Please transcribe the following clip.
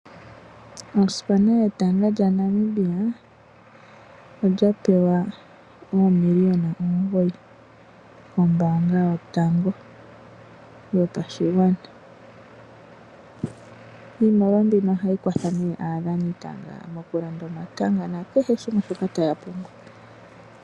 Osipaana yetanga lyaNamibia oya pewa oomiliona omugoyi kombaanga yotango yopashigwana. Iimaliwa mbino ohayi kwatha nee aadhanitanga mokulanda omatanga nakehe shimwe shoka taya pumbwa.